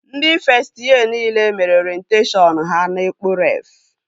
Ndị fest yee nile mere orenteshọn ha na Ekpo Ref